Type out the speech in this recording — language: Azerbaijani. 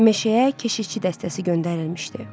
Meşəyə keşitçi dəstəsi göndərilmişdi.